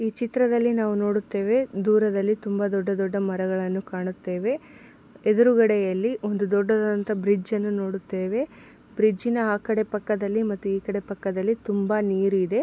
ಈ ಚಿತ್ರದಲ್ಲಿ ನಾವು ನೋಡುತ್ತೇವೆ ದೂರದಲ್ಲಿ ದೊಡ್ಡ ದೊಡ್ಡ ಮರಗಳನ್ನು ಕಾಣುತ್ತೇವೆ ಎದುರುಗಡೆಯಲ್ಲಿ ಒಂದು ದೊಡ್ಡದಾದಂತಹ ಬ್ರಿಡ್ಜನ್ನು ನೋಡುತ್ತೇವೆ ಬ್ರಿಡ್ಜ್ ನ ಆ ಕಡೆ ಪಕ್ಕದಲ್ಲಿ ಮತ್ತೆ ಈ ಕಡೆ ಪಕ್ಕದಲ್ಲಿ ತುಂಬಾ ನೀರು ಇದೆ.